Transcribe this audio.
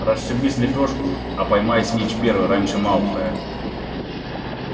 расшибись в лепёшку а поймай снитч первый раньше малфоя